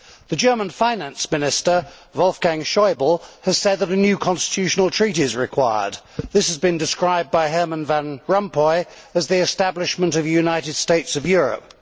The German Finance Minister, Wolfgang Schäuble, has said that a new constitutional treaty is required. This has been described by Herman Van Rompuy as the establishment of a United States of Europe.